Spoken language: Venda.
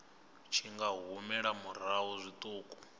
tshi nga humela murahu zwiṱuku